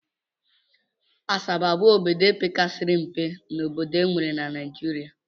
Asaba bụ obodo pekasịrị mpe n'obodo e nwere na Naijiria